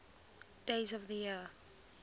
days of the year